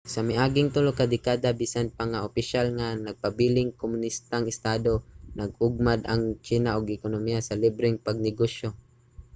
sa miaging tulo ka dekada bisan pa nga opisyal nga nagpabiling kumonistang estado nag-ugmad ang tsina og ekonomiya sa libreng pagnegosyo